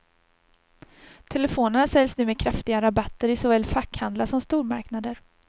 Telefonerna säljs nu med kraftiga rabatter i såväl fackhandlar som stormarknader.